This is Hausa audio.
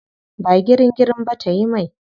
Ba girin girin ba tayi mai.